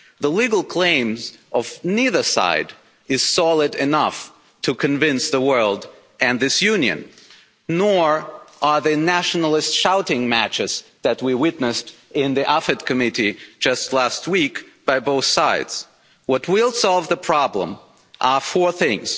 The legal claims of neither side are solid enough to convince the world and this Union, nor are the nationalist shouting matches that we witnessed in the Committee on Foreign Affairs just last week, on both sides. What will solve the problem are four things.